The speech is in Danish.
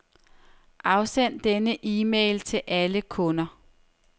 Afsend denne e-mail til alle kunder.